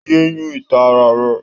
Yé yún ìta ara rẹ!